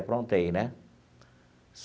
Aprontei, né?